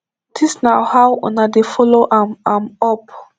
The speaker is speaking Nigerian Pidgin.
dis na how una dey follow am am up